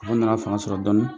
Olu nana fanga sɔrɔ dɔɔni.